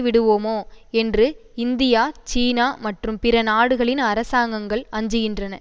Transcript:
விடுவோமோ என்று இந்தியா சீனா மற்றும் பிற நாடுகளின் அரசாங்கங்கள் அஞ்சுகின்றன